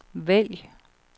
vælg